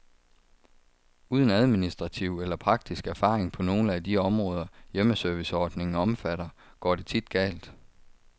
Uden administrativ eller praktisk erfaring på nogle af de områder, hjemmeserviceordningen omfatter, går det tit galt.